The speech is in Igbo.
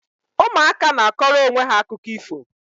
Ụmụaka na akọrọ onwe ha akụkọ ifo